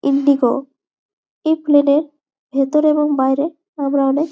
Indigo এই প্লানের ভিতরে এবং বাহিরে সব ধরণের--